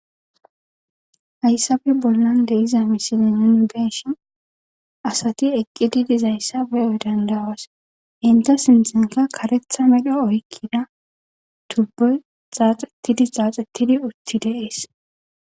Hayissape bollani de'zza misile nuni be'ishin assati eqidi dizayisa beó danddaósi. Enta sinthanika karetha medho oyikida tubboyi xaxetidi xaxetidi utti deèsi